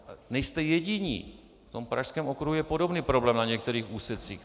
Nejste jediní, v tom pražském okruhu je podobný problém na některých úsecích.